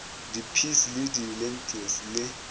di peas di lentils le